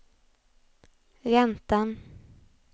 räntan